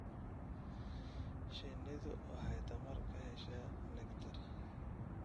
Shinnidu waxay tamar ka heshaa nectar.